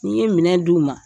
N ye minɛ d'uma